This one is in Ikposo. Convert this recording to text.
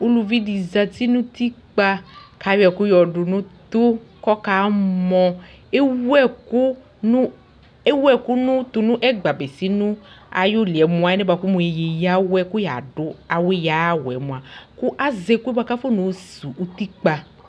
uluʋi dɩ zeti nu utɩkpa ku ayɔ ɛku yɔdunu utu kamɔŋ ewu ɛku tu nu ɛgba bekinu ayu li yɛ mu alɛnɛ eyawɛ ku yadu ɛku ya aya wɛ mua azɛ ɛkuɛ afɔna yɔ osuwu utikpa